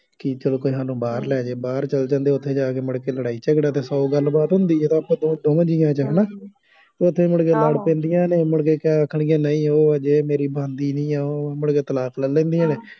ਕਿ ਚੱਲੋ ਸਾਨੂੰ ਕੋਈ ਬਾਹਰ ਲੈ ਜਾਏ, ਬਾਹਰ ਚੱਲ ਜਾਂਦੇ ਆ, ਉੱਥੇ ਜਾ ਕੇ ਮੁੜਕੇ ਲੜਾਈ ਝਗੜਾ ਅਤੇ ਸੌ ਗੱਲਬਾਤ ਹੁੰਦੀ ਆ, ਅਤੇ ਆਪਸ ਵਿੱਚ ਦੋਵਾਂ ਜੀਆਂ ਵਿੱਚ ਹੈ ਨਾ, ਉੱਥੇ ਮੁੜਕੇ ਲੜ ਪੈਂਦੀਆਂ ਨੇ, ਮੁੜਕੇ ਕਹਿ ਆਖਣਗੀਆਂ ਨਹੀਂ ਉਹ ਜੇ ਮੇਰੀ ਬਣਦੀ ਨਹੀਂ ਉਹ, ਮੁੜਕੇ ਤਲਾਕ ਲੈ ਲੈਂਦੀਆਂ ਨੇ